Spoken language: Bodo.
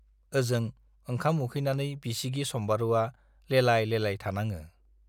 ओजों ओंखाम उखैनानै बिसिगि सम्बारुवा लेलाय-लेलाय थानाङो।